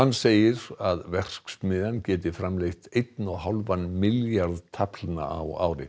segir að verksmiðjan geti framleitt einn og hálfan milljarð taflna á ári